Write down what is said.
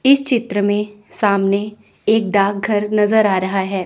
इस चित्र में सामने एक डाकघर नज़र आ रहा है।